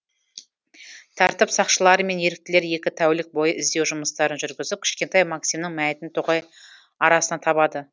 тәртіп сақшылары мен еріктілер екі тәулік бойы іздеу жұмыстарын жүргізіп кішкентай максимнің мәйітін тоғай арасынан табады